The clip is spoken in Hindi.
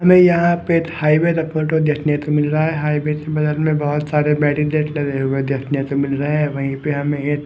हमें यहाँ पे हाईवे का फोटो देखने को मिल रहा है हाईवे के बगल में बहुत सारे बैरीकेड लगे हुए देखने को मिल रहे हैं वहीं पे हमें ये--